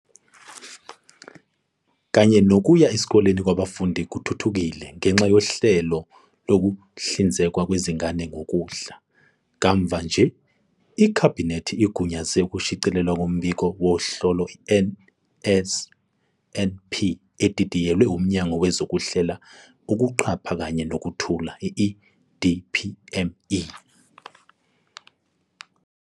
.kanye nokuya esikoleni kwabafundi kuthuthukile ngenxa yohlelo lokuhlinzekwa kwezingane ngokudla. Kamuva nje, iKhabhinethi igunyaze ukushicilelwa koMbiko Wokuhlola i-NSNP odidiyewe uMnyango Wezokuhlela, Ukuqapha kanye Nokuhlola, i-DPME.